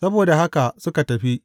Saboda haka suka tafi.